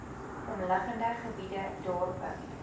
omliggende gebiede dorpe